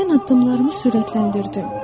Mən addımlarımı sürətləndirdim,